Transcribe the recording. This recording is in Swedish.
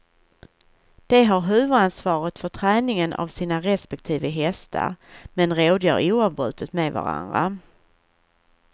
De har huvudansvaret för träningen av sina respektive hästar, men rådgör oavbrutet med varandra.